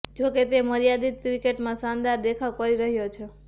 જોકે તે મર્યાદિત ક્રિકેટમાં શાનદાર દેખાવ કરી રહ્યો છે